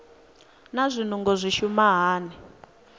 naa zwinungo zwi shuma hani